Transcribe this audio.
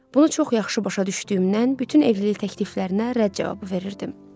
Bunu çox yaxşı başa düşdüyümdən bütün evlilik təkliflərinə rədd cavabı verirdim.